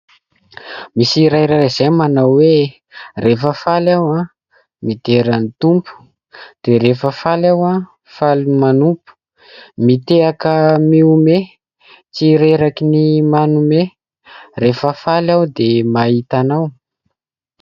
Misy hira iray izay manao hoe : rehefa faly aho midera ny Tompo, dia rehefa faly aho faly manompo, mitehaka mihome tsy reraky ny manome, rehefa faly aho dia mahita anao.